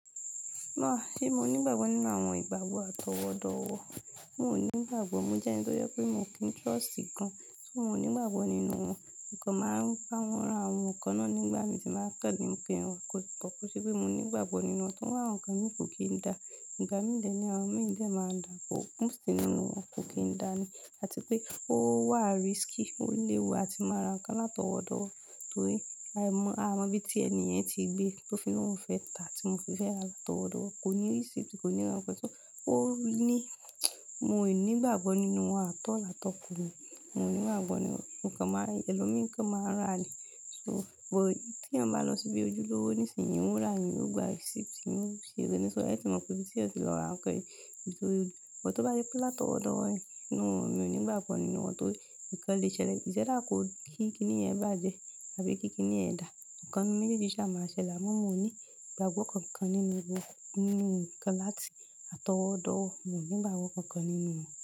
Áa ṣé mo ní ìgbàgbọ́ nínú àwọn ìgbàgbọ́ àtọwọ́dọ̀wọ̀? N ò ní ìgbàgbọ́. Mo jẹ́ ẹni tó yẹ pé mo kí ń trust gan-an. So mo o ní ìgbàgbọ́ nínú wọn. Ǹkan máa ń rántí àwọn ǹkan náà nígbà mí tí máa kà ní ń pe wọn. Kò ṣe pé mo ní ìgbàgbọ́ nínú wọn, tóri awon ǹkan mi kò kín dá. Ìgbà mí dè ní àwọn mii dè máa dà, kò. Mòst nínú wọn, kò kín dá ni. Àti pé ó wà risky, ó léwu. A ti máa ra ǹkan látọwọ́dọ̀wọ̀ torí a mọ bí i tí ènì yen tí gbé, tó fi lóhùn fẹ́ tà tí mo fi fẹ́ ra látọwọ́dọ̀wọ̀. Kò ní receipt, kò ní ran pẹ̀tú. Ó ní mo ní ìgbàgbọ́ nínú wọn at all at all tọkù mi. Mo ní ìgbàgbọ́ nínú wọn. Ǹkan máa ń ri elòmí, ǹkan máa ń rà ni. So but tí ẹ̀yan bá lọ síbi ojúlówó nísìnyí ń rà, ẹ̀yin ó gba receipt, ẹ̀yin ó ṣeré nísó. Ẹ ti mọ pé bí tí ẹ ti lọ ra ǹkan yẹn. Torí bó tó bá rí pílà tọwọ́dọ̀wọ̀ ni noo, mi ò ní ìgbàgbọ́ nínú wọn torí ǹkan lè ṣẹlẹ̀. Iṣ either kò kí kíni yen bàjẹ́ àbí kí kíni yẹ̀n dà. Ǹkan ninu méjèèjì ṣá máa ṣẹlẹ̀. Àmọ́ mo ní ìgbàgbọ́ kankan nínú wọn. Nínú ǹkan láti àtọwọ́dọ̀wọ̀, mo ní ìgbàgbọ́ kankan nínú wọn.